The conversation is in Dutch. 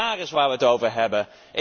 Dát is waar we het over hebben.